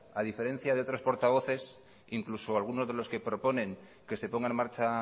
a diferencia de otros portavoces incluso algunos de los que proponen que se ponga en marcha